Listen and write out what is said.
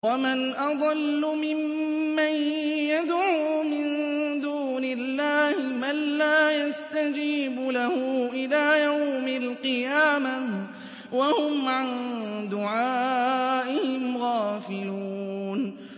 وَمَنْ أَضَلُّ مِمَّن يَدْعُو مِن دُونِ اللَّهِ مَن لَّا يَسْتَجِيبُ لَهُ إِلَىٰ يَوْمِ الْقِيَامَةِ وَهُمْ عَن دُعَائِهِمْ غَافِلُونَ